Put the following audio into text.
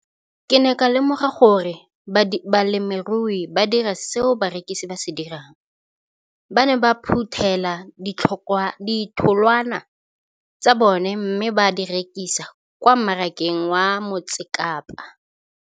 Ke ne ka lemoga gape gore balemirui ba dira seo rona barekisi re se dirang, ba ne ba phuthela ditholwana tsa bona mme ba di rekisa kwa marakeng wa Motsekapa.